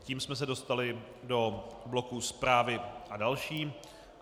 Tím jsme se dostali do bloku Zprávy a další.